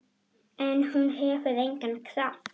En hún hefur engan kraft.